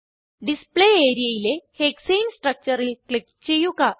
display areaയിലെ ഹെക്സാനെ structureൽ ക്ലിക്ക് ചെയ്യുക